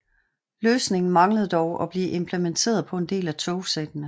Løsningen manglede dog at blive implementeret på en del af togsættene